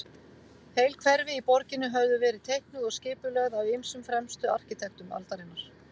Heil hverfi í borginni höfðu verið teiknuð og skipulögð af ýmsum fremstu arkitektum aldarinnar.